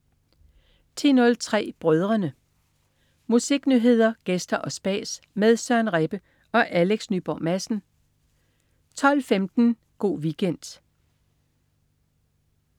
10.03 Brødrene. Musiknyheder, gæster og spas med Søren Rebbe og Alex Nyborg Madsen 12.15 Go' Weekend